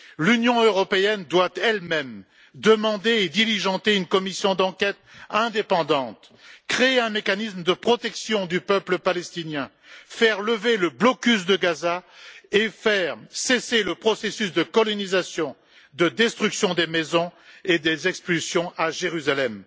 L'Union européenne doit elle même demander et diligenter une commission d'enquête indépendante, créer un mécanisme de protection du peuple palestinien, faire lever le blocus de Gaza et faire cesser le processus de colonisation de destruction des maisons et des expulsions à Jérusalem.